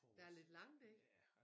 Der lidt langt ikke